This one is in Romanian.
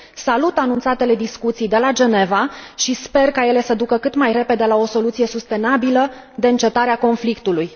Salut anunțatele discuții de la Geneva și sper ca ele să ducă cât mai repede la o soluție sustenabilă de încetare a conflictului.